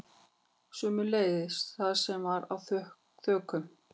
Sömuleiðis það sem var á þökunum